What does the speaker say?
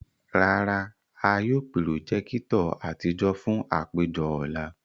Rara, a yóò pirojekitọ atijọ fun apejọ ọla.